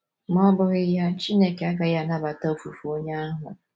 Ma ọ́ bụghị ya, Chineke agaghị anabata ofufe onye ahụ.